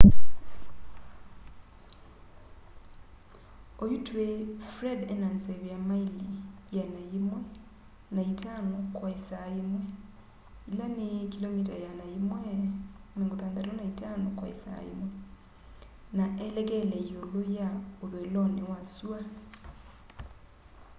oyu tũĩ fred ena nzeve ya maili 105 kwa ĩsaa yĩmwe 165km/h na elekele yĩũlũ ya ũthũĩlonĩ wa sũa